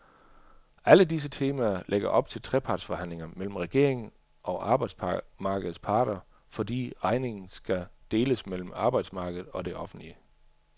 Alle disse temaer lægger op til trepartsforhandlinger mellem regeringen og arbejdsmarkedets parter, fordi regningen skal deles mellem arbejdsmarkedet og det offentlige.